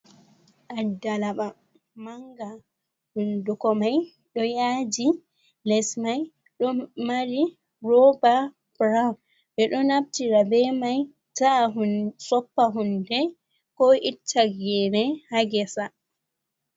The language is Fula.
Addalaba mannga, hunnduko may ɗoo yaaji les may ɗo mari rooba burawun. Ɓe ɗo naftira be may ta'a ko soppa hunde ko itta geene haa ngesa.